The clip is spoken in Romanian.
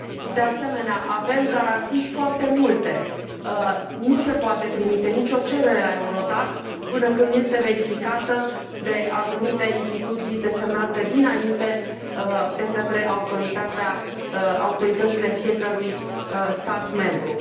De asemenea, avem garanții foarte multe nu se poate trimite nicio cerere la EURODAC până când nu este verificată de anumite instituții desemnate dinainte de către autoritățile fiecărui stat membru.